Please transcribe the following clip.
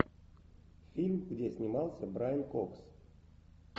фильм где снимался брайан кокс